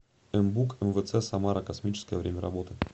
мбук мвц самара космическая время работы